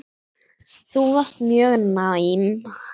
Þú varst mjög næm.